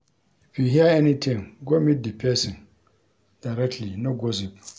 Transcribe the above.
If you hear anytin, go meet di pesin directly, no gossip.